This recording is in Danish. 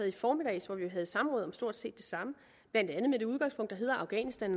i formiddag hvor vi jo havde samråd om stort set det samme blandt andet med det udgangspunkt der hedder at afghanistan